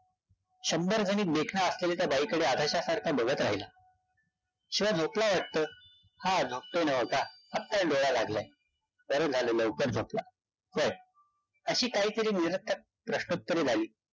शंभर गुणी देखण्या असलेल्या त्या बाई कडे अधाशा सारखा बघत राहिला. शिवा झोपला वाटत. हा झोपतोय नव्ह का. आता डोळा लागलाय. बरं झालं लवकर झोपला. व्हय. अशी काहीतरी निरर्थक प्रश्नोत्तरे झाली.